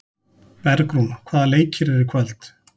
Bergrún, hvaða leikir eru í kvöld?